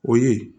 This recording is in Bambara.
O ye